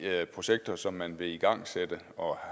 af de projekter som man vil igangsætte og